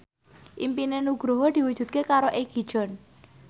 impine Nugroho diwujudke karo Egi John